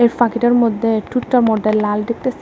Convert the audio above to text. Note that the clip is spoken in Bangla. পাখিটার মধ্যে ঠুঁটটার মধ্যে লাল দেখতাসি আ--